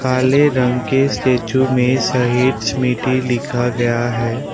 काले रंग के स्टैचू में शहीद स्मृति लिखा गया है।